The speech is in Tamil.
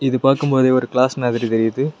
இத பாக்கும்போது ஒரு கிளாஸ் மாதிரி தெரியுது.